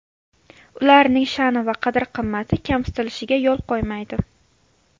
Ularning sha’ni va qadr-qimmati kamsitilishiga yo‘l qo‘ymaydi.